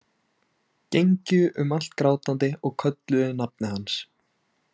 Gengju um allt grátandi og kölluðu nafnið hans.